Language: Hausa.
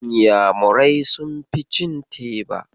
Inyamurai sunfi cin teba.